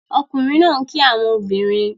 Ọkunrin naa n ki awọn obinrin